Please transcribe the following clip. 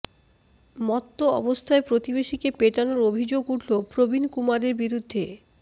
মত্ত অবস্থায় প্রতিবেশীকে পেটানোর অভিযোগ উঠল প্রবীণ কুমারের বিরুদ্ধে